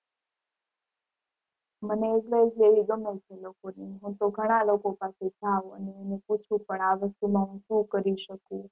મને advice લેવી ગમે છે લોકો ની. હું ઘણા લોકો પાસે જાઉ અને એને પૂછું પણ આ વસ્તુમાં હું શું કરી શકું.